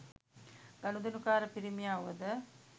ගනුදෙනුකාර පිරිමියා වුවද